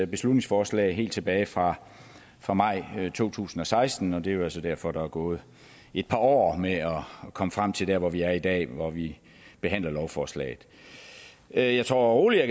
beslutningsforslag helt tilbage fra fra maj to tusind og seksten det er jo så derfor at der er gået et par år med at komme frem til her hvor vi er i dag hvor vi behandler lovforslaget jeg jeg tror roligt at